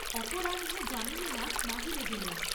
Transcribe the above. অপরাহ্নে যামিনীনাথ বাহিরে গেলেন।